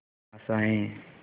आशाएं